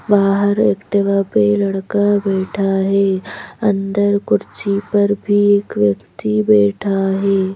बाहर एक्टिवा पे लड़का बैठा है अंदर कुर्सी पर भी एक व्यक्ति बैठा है।